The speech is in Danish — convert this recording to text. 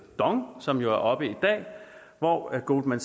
dong som jo er oppe i dag hvor goldman